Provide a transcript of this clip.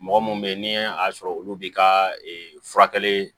Mɔgɔ munnu be yen ni a sɔrɔ olu bi ka furakɛli